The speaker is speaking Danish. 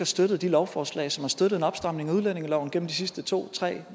støttet de lovforslag som har støttet en opstramning af udlændingeloven gennem de sidste to tre